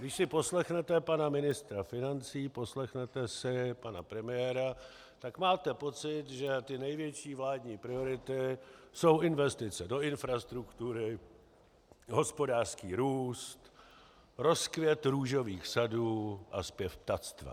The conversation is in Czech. Když si poslechnete pana ministra financí, poslechnete si pana premiéra, tak máte pocit, že ty největší vládní priority jsou investice do infrastruktury, hospodářský růst, rozkvět růžových sadů a zpěv ptactva.